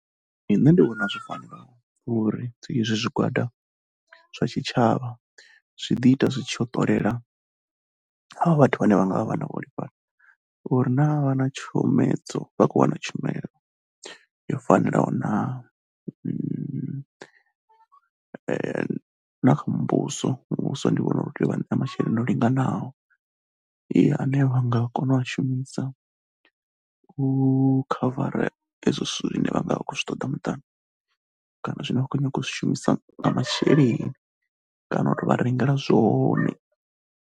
Nṋe ndi vhona zwo fanela uri izwo zwigwada zwa tshitshavha zwi ḓi ita zwi tshi yo ṱolela avho vhathu vhane vha nga vha vha na vhuholefhali uri naa vha na tshomedzo vha khou wana tshumelo yo fanelaho naa. Na kha muvhuso, muvhuso ndi vhona uri u tea u vha ṋea masheleni o linganaho ane vha nga kona u a shumisa u khavara ezwo zwithu zwine vha nga vha khou zwi ṱoḓa muṱani kana zwine vha khou nyaga u zwi shumisa masheleni kana u tou vha rengela zwone.